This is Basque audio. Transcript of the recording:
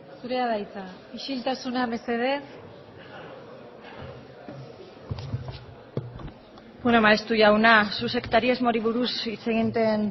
zurea da hitza isiltasuna mesedez bueno maeztu jauna zuk sektarismori buruz hitz egiten